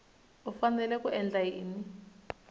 u fanele ku endla yini